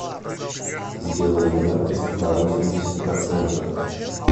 сделай яркость на восемьдесят процентов